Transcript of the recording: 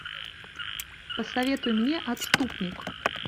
посоветуй мне отступник